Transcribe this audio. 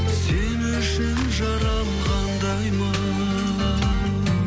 сен үшін жаралғандаймын